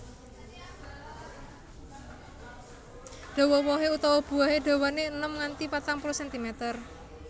Dawa wohé utawa buahé dawané enem nganti patang puluh sentimeter